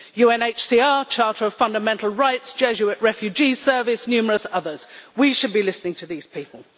UNHCR, Charter of Fundamental Rights, Jesuit Refugee Service, numerous others we should be listening to these people.